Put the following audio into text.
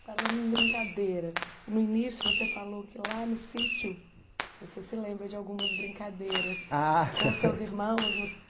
Falando em brincadeira, no início você falou que lá no sítio você se lembra de algumas brincadeiras ah com seus irmãos no